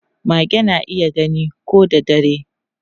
Mage na iya gani ko da dare.